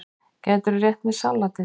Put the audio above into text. Gætirðu rétt mér saltið?